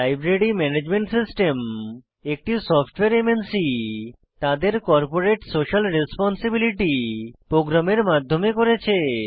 library management system একটি software MNC তাদের corporate social responsibility প্রোগ্রামের মাধ্যমে করেছে